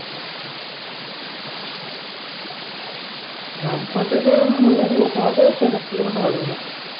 রামপুরা থেকে মল্লারপুর করতে হবে ছয় সাত kilometer হবে মনে হয়